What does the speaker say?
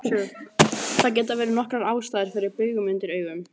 Það geta verið nokkrar ástæður fyrir baugum undir augum.